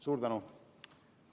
Suur tänu!